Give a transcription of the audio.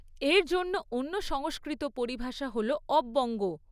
এর জন্য অন্য সংস্কৃত পরিভাষা হল অব্যঙ্গ।